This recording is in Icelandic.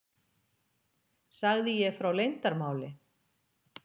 Sagði ég frá leyndarmáli?